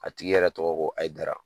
A tigi yɛrɛ tɔgɔ ye ko ayidara